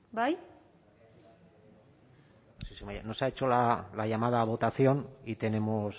bai no se ha hecho la llamada a votación y tenemos